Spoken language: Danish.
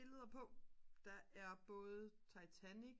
billeder på der er både titanic